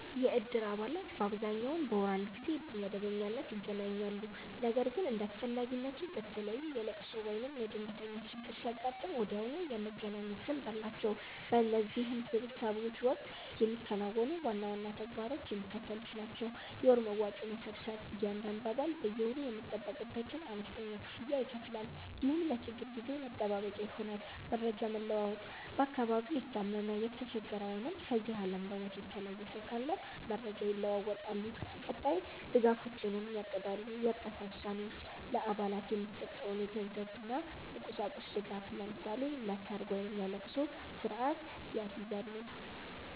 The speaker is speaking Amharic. የእድር አባላት በአብዛኛው በወር አንድ ጊዜ በመደበኛነት ይገናኛሉ። ነገር ግን እንደ አስፈላጊነቱ፣ በተለይ የልቅሶ ወይም የድንገተኛ ችግር ሲያጋጥም ወዲያውኑ የመገናኘት ልምድ አላቸው። በእነዚህ ስብሰባዎች ወቅት የሚከናወኑ ዋና ዋና ተግባራት የሚከተሉት ናቸው፦ የወር መዋጮ መሰብሰብ፦ እያንዳንዱ አባል በየወሩ የሚጠበቅበትን አነስተኛ ክፍያ ይከፍላል፤ ይህም ለችግር ጊዜ መጠባበቂያ ይሆናል። መረጃ መለዋወጥ፦ በአካባቢው የታመመ፣ የተቸገረ ወይም ከዚህ ዓለም በሞት የተለየ ሰው ካለ መረጃ ይለዋወጣሉ፤ ቀጣይ ድጋፎችንም ያቅዳሉ። የእርዳታ ውሳኔዎች፦ ለአባላት የሚሰጠውን የገንዘብና የቁሳቁስ ድጋፍ (ለምሳሌ ለሰርግ ወይም ለልቅሶ) ስርአት ያስይዛሉ።